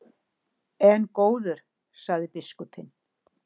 En góður, sagði biskupinn.